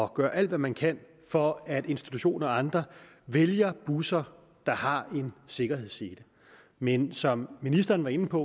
og gøre alt hvad man kan for at institutioner og andre vælger busser der har sikkerhedsseler men som ministeren var inde på